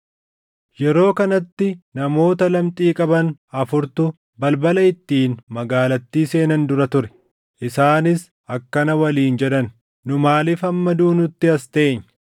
Yeroo kanatti namoota lamxii qaban afurtu balbala ittiin magaalattii seenan dura ture. Isaanis akkana waliin jedhan; “Nu maaliif hamma duunutti as teenya?